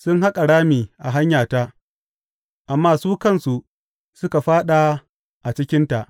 Sun haƙa rami a hanyata, amma su kansu suka fāɗa a cikinta.